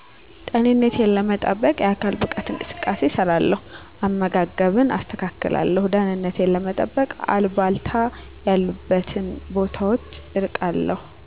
ጤንነቴን ለመጠበቅ የአካል ብቃት እንቅስቃሴ እሰራለው አመጋገብን አስተካክላለሁ ደህንነቴን ለመጠበቅ አልባልታ ያሉበትን ቦታወች እርቃለው